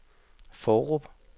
Fårup